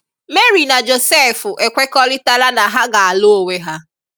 Mary na Josef ekweríkọrítàlà na ha ga-alụ onwe ha.